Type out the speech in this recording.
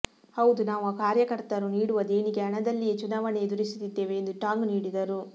ಹೌದು ನಾವು ಕಾರ್ಯಕರ್ತರು ನೀಡುವ ದೇಣಿಗೆ ಹಣದಲ್ಲಿಯೇ ಚುನಾವಣೆ ಎದುರಿಸುತ್ತಿದ್ದೇವೆ ಎಂದು ಟಾಂಗ್ ನೀಡಿದರು